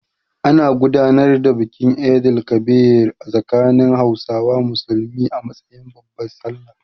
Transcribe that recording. An gudanar da bikin Eid el-Kabir a tsakanin Hausawa Musulmi a matsayin babbar Sallah.